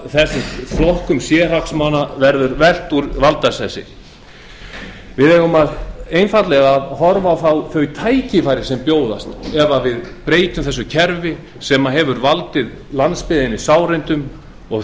ef þessum flokkum sérhagsmuna verður velt úr valdasessi við eigum einfaldlega að horfa á þau tækifæri sem bjóðast ef við breytum þessu kerfi sem hefur valdið landsbyggðinni sárindum og